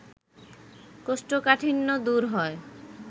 কোষ্ঠকাঠিন্য দূর হয়